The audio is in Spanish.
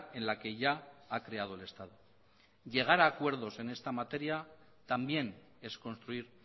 en la que ya ha creado el estado llegar a acuerdos en esta materia también es construir